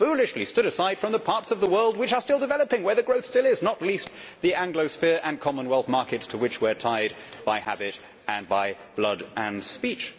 We foolishly stood aside from the parts of the world which are still developing, where the growth still is, not least the Anglosphere and Commonwealth markets to which we are tied by habit, blood and speech.